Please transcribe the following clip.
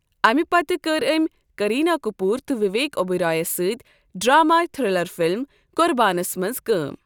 اَمہِ پتہٕ کٔر أمۍ کرینہ کپوٗر تہٕ وویک اوبرائے یَس سۭتۍ ڈرامٲئی تھرلر فِلم قُربانَس منٛز کٲم۔